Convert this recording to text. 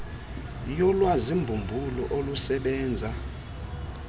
yolwazi mbumbulu olusebenza